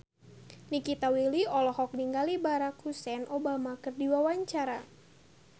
Nikita Willy olohok ningali Barack Hussein Obama keur diwawancara